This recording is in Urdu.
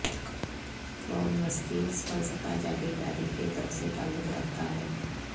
قرون وسطی فلسفہ جاگیرداری کے دور سے تعلق رکھتا ہے